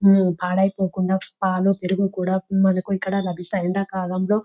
పడిపోకుండా పాలు పెరుగు కూడా మనకు ఇక్కడ లాభిస్తాయి ఎండకాలంలో.